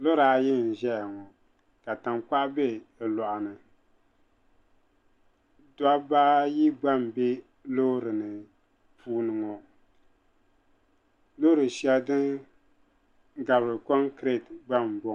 Lora ayi n-ʒeya ŋɔ ka tankpaɣu be bɛ lɔɣu ni dobba ayi gba m-be loori ni puuni ŋɔ loori shɛli din gabiri konkireti gba m-bɔŋɔ.